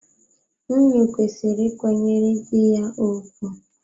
Nwunye kwesịrị ị ịkwanyere dị ya ùgwù.